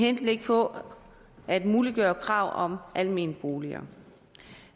henblik på at muliggøre krav om almene boliger